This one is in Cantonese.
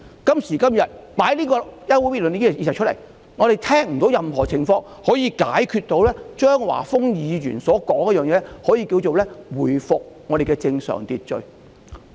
今時今日，張華峰議員提出休會待續議案後，我們聽不到有任何建議可以解決他提出的問題，能夠令社會回復正常秩序。